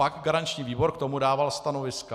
Pak garanční výbor k tomu dával stanoviska.